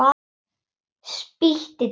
Spýti tvisvar á gólfið.